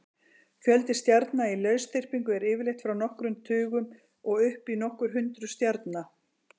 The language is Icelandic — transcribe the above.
Fjöldi stjarna í lausþyrpingu er yfirleitt frá nokkrum tugum og upp í nokkur hundruð stjarna.